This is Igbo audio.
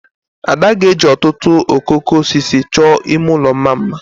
Ada ga-eji ọtụtụ okooko osisi chọọ ime ụlọ mma mma